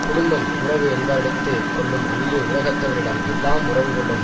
குடும்பம் உறவு என்பாரிடத்துக் கொள்ளும் அன்பு உலகத்தவரிடம் எல்லாம் உறவு கொள்ளும்